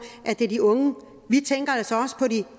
de unge vi tænker altså også på de